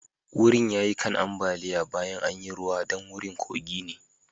Wurin ya yi kan ambaliya baya an yi ruwa dan wurin kogi ne.